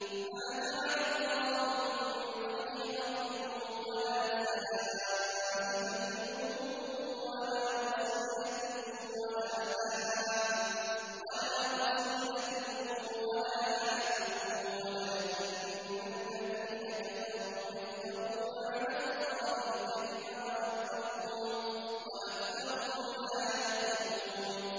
مَا جَعَلَ اللَّهُ مِن بَحِيرَةٍ وَلَا سَائِبَةٍ وَلَا وَصِيلَةٍ وَلَا حَامٍ ۙ وَلَٰكِنَّ الَّذِينَ كَفَرُوا يَفْتَرُونَ عَلَى اللَّهِ الْكَذِبَ ۖ وَأَكْثَرُهُمْ لَا يَعْقِلُونَ